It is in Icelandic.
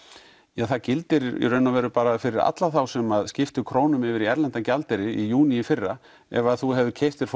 ja það gildir bara fyrir alla þá sem skiptu krónum yfir í erlendan gjaldeyri í júní í fyrra ef þú hefur keypt þér